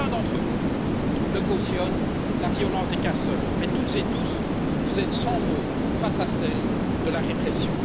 Aucun d'entre vous ne cautionne la violence des casseurs, mais, toutes et tous, vous êtes sans mots face à celle de la répression.